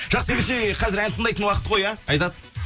жақсы ендеше қазір ән тыңдайтын уақыт қой иә айзат